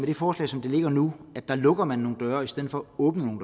det forslag som det ligger nu lukker nogle døre i stedet for at åbne